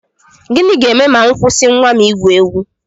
Gịnị ga-eme ma m kwụsị nnwa m igwu egwu?